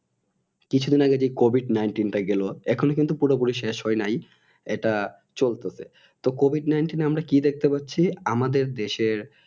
কিছুদিন আগে যে Covid nineteen টি গেল এখন কিন্তু পুরোপুরি শেষ হয় নাই এটা চলতাছে তো Covid nineteen আমরা কি দেখতে পাচ্ছি আমাদের দেশের